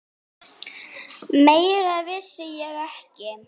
Meira vissi ég ekki.